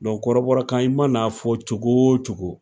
kɔrɔbɔrɔ kan i mana f'ɔ cogo o cogo